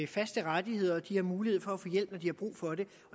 faste rettigheder og at de har mulighed for at få hjælp når de har brug for det